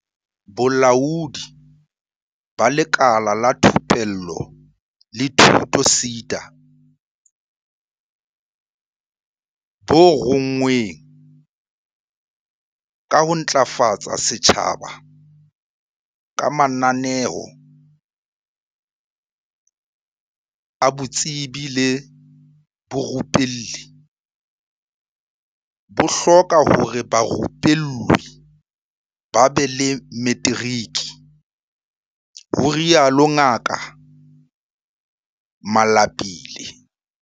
Bolaodi ba Lekala la Thupello le Thuto SETA, bo rongweng ka ho ntlafatsa setjhaba ka mananeo a botsebi le borupelli, bo hloka hore barupellwi ba be le materiki, ho rialo Ngaka Malapile.